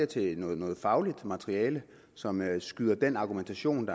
til noget fagligt materiale som skyder den argumentation